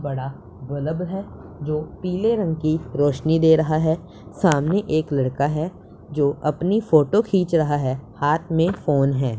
बड़ा बल्ब है जो पीले रंग की रोशनी दे रहा है सामने एक लड़का है जो अपनी फोटो खींच रहा है हाथ में फोन हैं--